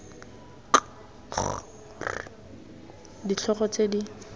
k g r ditlhogo tse